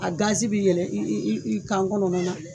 A gazi bɛ yɛlɛn i i kan kɔnɔna na.